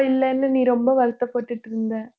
முட்டை இல்லன்னு நீ ரொம்ப வருத்தப்பட்டுட்டு இருந்த